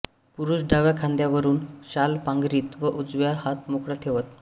पुरुष डाव्या खांद्यावरुन शाल पांघरीत व उजवा हात मोकळा ठेवत